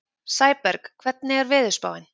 Sæberg, hvernig er veðurspáin?